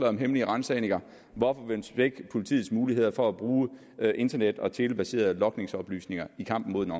om hemmelige ransagninger hvorfor vil man svække politiets muligheder for at bruge internet og telebaserede logningsoplysninger i kampen mod den